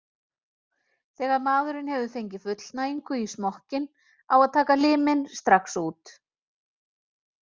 Þegar maðurinn hefur fengið fullnægingu í smokkinn á að taka liminn strax út.